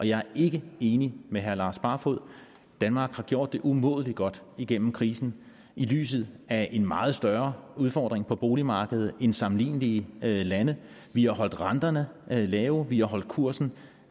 jeg er ikke enig med herre lars barfoed danmark har gjort det umådelig godt igennem krisen i lyset af en meget større udfordring på boligmarkedet end sammenlignelige lande vi har holdt renterne lave vi har holdt kursen